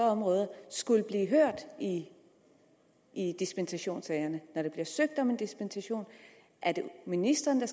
områder skulle blive hørt i i dispensationssagerne når der bliver søgt om en dispensation er det ministeren der